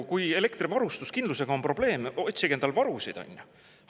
Kui elektrivarustuskindlusega on probleeme, endale varusid, onju!